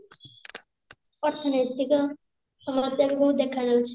ଅର୍ଥନୈତିକ ସମସ୍ୟା ସବୁ ଦେଖା ଯାଉଛି